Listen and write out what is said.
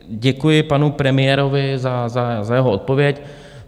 Děkuji panu premiérovi za jeho odpověď.